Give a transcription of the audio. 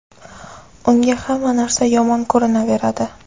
unga hamma narsa yomon ko‘rinaveradi.